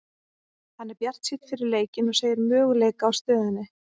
Hann er bjartsýnn fyrir leikinn og segir möguleika í stöðunni.